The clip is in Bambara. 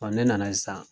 ne nana sisan